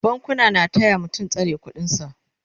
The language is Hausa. bankuna na taya mutum tsare ƙuɗin sa